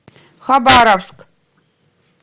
хабаровск